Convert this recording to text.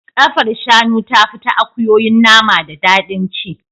Kafar shanu tafi ta akuyoyi nama da daɗin ci.